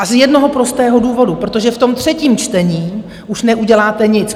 A z jednoho prostého důvodu: protože v tom třetím čtení už neuděláte nic.